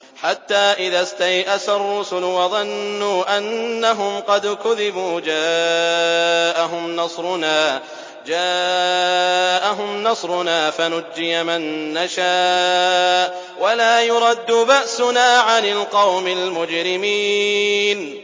حَتَّىٰ إِذَا اسْتَيْأَسَ الرُّسُلُ وَظَنُّوا أَنَّهُمْ قَدْ كُذِبُوا جَاءَهُمْ نَصْرُنَا فَنُجِّيَ مَن نَّشَاءُ ۖ وَلَا يُرَدُّ بَأْسُنَا عَنِ الْقَوْمِ الْمُجْرِمِينَ